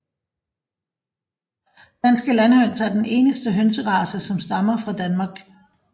Danske landhøns er den eneste hønserace som stammer fra Danmark